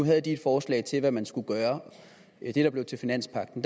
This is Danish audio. havde de et forslag til hvad man skulle gøre det der blev til finanspagten